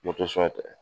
tɛ